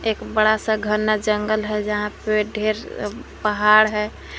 एक बड़ा सा घना जंगल है जहां पे ढेर अह पहाड़ है।